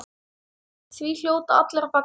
Því hljóta allir að fagna.